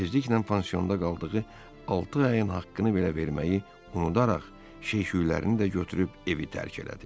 Tezliklə pansiyonda qaldığı altı ayın haqqını belə verməyi unudaraq, şey-şüylərini də götürüb evi tərk elədi.